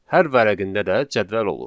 Hər vərəqində də cədvəl olur.